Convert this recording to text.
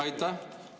Aitäh!